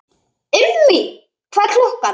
Immý, hvað er klukkan?